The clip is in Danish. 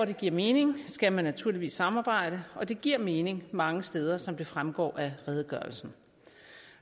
det giver mening skal man naturligvis samarbejde og det giver mening mange steder som det fremgår af redegørelsen